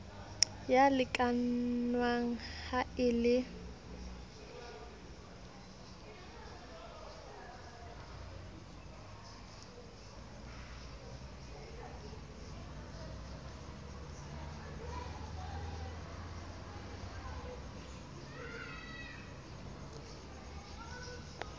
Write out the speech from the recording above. ya lekanngwa ha e le